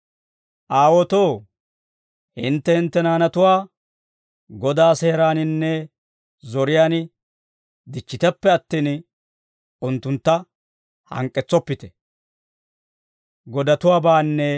Aawotoo, hintte hintte naanatuwaa Godaa seeraaninne zoriyaan dichchiteppe attin, unttuntta hank'k'etsoppite.